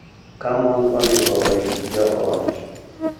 Ka mon onego orit joot.